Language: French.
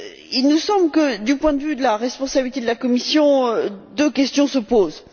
Il nous semble que, du point de vue de la responsabilité de la Commission, deux questions se posent.